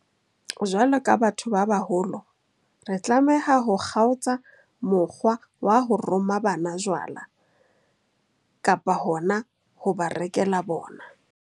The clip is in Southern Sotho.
Jwalo ka batho ba baholo, re tlameha ho kgaotsa mokgwa wa ho roma bana jwala, kapa hona ho ba rekela bona.